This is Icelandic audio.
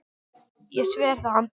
Ég sver það Andri.